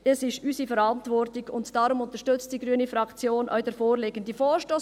Es ist unsere Verantwortung, und darum unterstützt die grüne Fraktion den vorliegenden Vorstoss.